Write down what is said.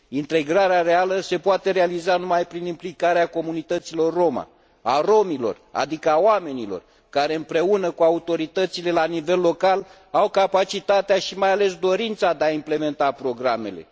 Integrarea reală se poate realiza numai prin implicarea comunităților roma, a rromilor, adică a oamenilor care, împreună cu autoritățile la nivel local, au capacitatea și, mai ales, dorința de a implementa programele.